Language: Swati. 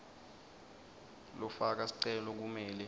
lofaka sicelo kumele